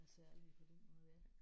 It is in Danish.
Er særlige på den måde ja